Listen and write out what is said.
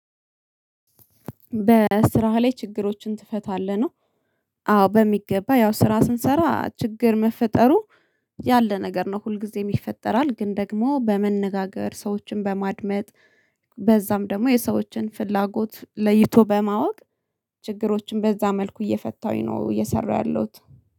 በስራህ ላይ ችግሮችን ትፈታለህ ነው? አዎ በሚገባ ያው ስራ ስንሰራ ችግር መፈጠሩ ያለ ነገር ነው። ሁልጊዜም ይፈጠራል ግን ደግሞ በመነጋገር ሰዎችን በማድመጥ። በዛም ደግሞ የሰዎችን ፍላጎት ለይቶ በማወቅ ችግሮችን በዛ መልኩ እየፈታሁኝ ነው። እየሰራሁ ያለሁት